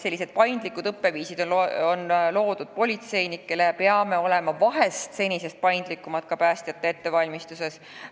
Sellised paindlikud õppeviisid on juba loodud politseinikele, peame vahest olema senisest paindlikumad ka päästjate koolitamisel.